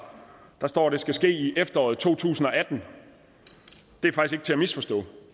der står at det skal ske i efteråret to tusind og atten det er faktisk ikke til at misforstå